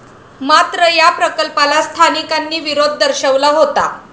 मात्र या प्रकल्पाला स्थानिकांनी विरोध दर्शवला होता.